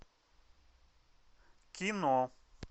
кино